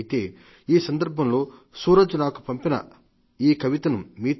అయితే ఈ సందర్భంగాలో సూరజ్ నాకు పంపిన ఈ కవితను మీతో